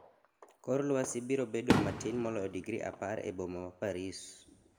kor lwasi biro bedo matin moloyo digri apar e boma mar Paris